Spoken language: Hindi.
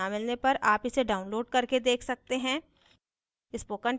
अच्छी bandwidth न मिलने पर आप इसे download करके देख सकते हैं